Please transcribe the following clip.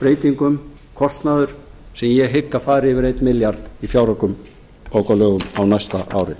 breytingum kostnaður að ég hygg að fari yfir einn milljarð í fjáraukalögum á næsta ári